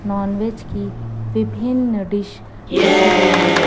Nonveg की विभिन्न dish रखी गई है।